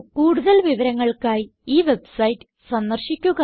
കൂടുതൽ വിവരങ്ങൾക്കായി ഈ വെബ്സൈറ്റ് സന്ദർശിക്കുക